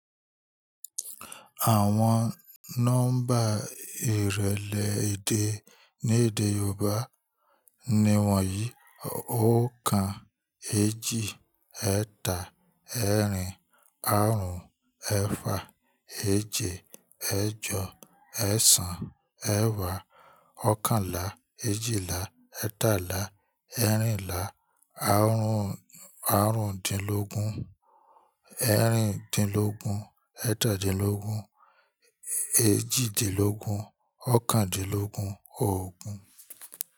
Àwon nọ́mbà ìrẹlẹ edè ni èdè Yoobá. Ni wọ̀nyí: oókan, eéjì, eẹ́tà, ẹ́erìn, áarún, ẹ́efà, eèje, eèjọ, eẹ̀sán, eẹ̀wá, ọ̀okànlá, eèjìlá, ẹ́etàlá, ẹ́erìnlá, arun--àrún-ún-dínlógún, ẹ́erìn-dínlógún, eẹ́tà-dínlógún, èeji-dínlógún, ọ̀okàn-dínlógún, ogún.